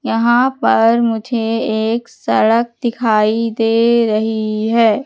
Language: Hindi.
यहां पर मुझे एक सड़क दिखाई दे रही है।